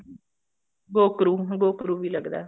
ਗੋਕਰੁ ਹਾਂ ਗੋਕਰੁ ਵੀ ਲੱਗਦਾ